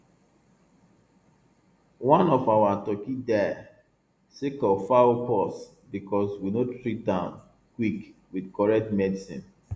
one of our turkey die sake of fowl pox because we no treat um quick with correct medicine